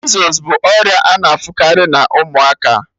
Measles bụ ọrịa a na-afụkarị na ụmụaka